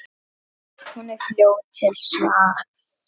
Hún er fljót til svars.